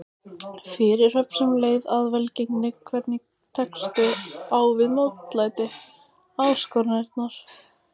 Fyrirhöfn sem leið að velgengni Hvernig tekstu á við mótlæti, áskoranir?